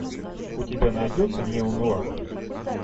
у тебя найдется нео нуар